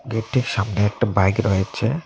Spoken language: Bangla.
গেটটির সামনে একটা বাইক রয়েছে।